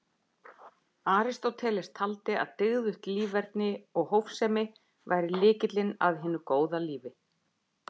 Aristóteles taldi að dygðugt líferni og hófsemi væri lykillinn að hinu góða lífi.